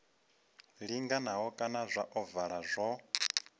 linganaho kana zwa ovala zwo